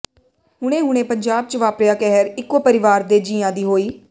ਹੁਣੇ ਹੁਣੇ ਪੰਜਾਬ ਚ ਵਾਪਰਿਆ ਕਹਿਰ ਇਕੋ ਪਰਿਵਾਰ ਦੇ ਜੀਆਂ ਦੀ ਹੋਈ